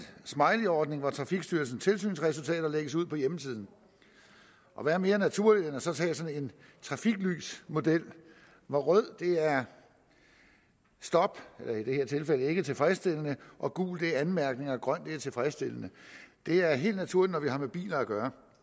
smileyordning hvor trafikstyrelsens tilsynsresultater lægges ud på hjemmesiden og hvad er mere naturligt end så at tage sådan en trafiklysmodel hvor rød er stop i det her tilfælde ikke tilfredsstillende og gul er anmærkninger og grøn er tilfredsstillende det er helt naturligt når vi har med biler at gøre